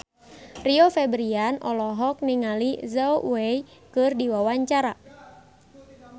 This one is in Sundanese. Rio Febrian olohok ningali Zhao Wei keur diwawancara